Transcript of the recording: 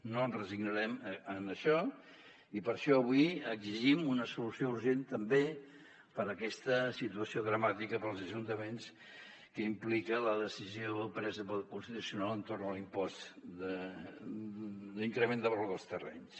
no ens resignem en això i per això avui exigim una solució urgent també per a aquesta situació dramàtica per als ajuntaments que implica la decisió presa pel constitucional entorn de l’impost de l’increment de valor dels terrenys